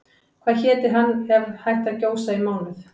Hvað héti hann ef hann hætti að gjósa í mánuð?